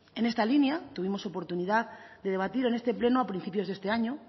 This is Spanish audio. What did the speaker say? en esta línea tuvimos oportunidad de debatir en este pleno a principios de este año